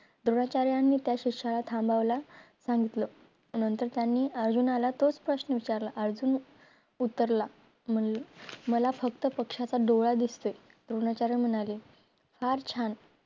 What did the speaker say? द्रोणाचार्यानी त्या शिष्याला थांबायला सांगितलं नंतर त्यांनी अर्जुनाला तोच प्रश्न विचारला अर्जुन उत्तरला म्हणे मला फक्त पक्षाचा डोळा दिसतोय द्रोणाचार्य म्हणाले फार छान